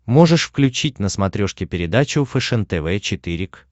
можешь включить на смотрешке передачу фэшен тв четыре к